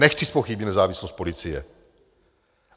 Nechci zpochybnit nezávislost policie.